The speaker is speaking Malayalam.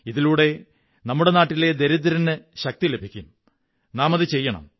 ഇതിലൂടെ നമ്മുടെ നാട്ടിലെ ദരിദ്രന് ശക്തി ലഭിക്കും നാമതു ചെയ്യണം